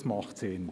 Das macht Sinn.